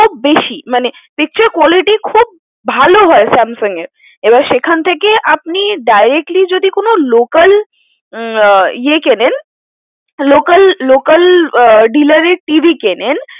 তার বেশি মানে picture quality খুব ভালো হয় Samsung এর এবার সেখান থেকে আপনি directly যদি কোন local ইয়ে কেনেন local local dealer এর TV কেনেন